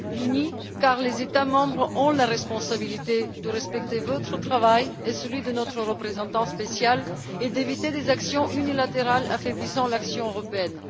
Nous devons être unis car les États membres ont la responsabilité de respecter votre travail et celui de notre représentant spécial et d'éviter des actions unilatérales affaiblissant l'action européenne.